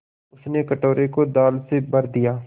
उसने कटोरे को दाल से भर दिया